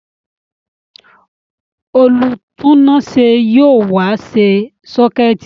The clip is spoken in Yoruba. Olùtúnáṣé yóò wá ṣe sọ́kẹ̀tì